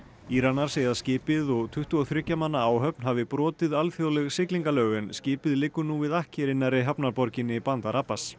Íranar segja að skipið og tuttugu og þriggja manna áhöfn hafi brotið alþjóðleg siglingalög en skipið liggur nú við akkeri nærri hafnarborginni bandar Abbas